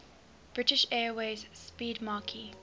british airways 'speedmarque